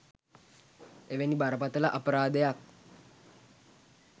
එවැනි බරපතළ අපරාධයක්